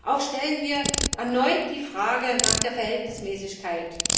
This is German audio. Auch stellen wir erneut die Frage nach der Verhältnismäßigkeit.